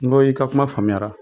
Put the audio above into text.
N go i ka kuma faamuyara.